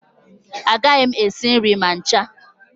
Agaghị m esi nri ma ncha